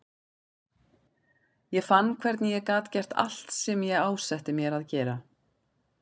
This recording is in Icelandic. Ég fann hvernig ég gat gert allt sem ég ásetti mér að gera.